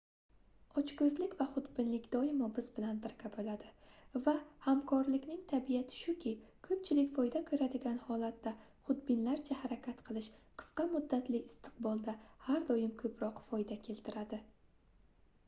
ochkoʻzlik va xudbinlik doimo biz bilan birga boʻladi va hamkorlikning tabiati shuki koʻpchilik foyda koʻradigan holatda xudbinlarcha harakat qilish qisqa muddatli istiqbolda har doim koʻproq foyda keltiradi